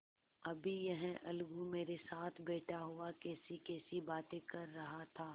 अभी यह अलगू मेरे साथ बैठा हुआ कैसीकैसी बातें कर रहा था